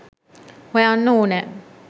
හොයන්න ඕනෑ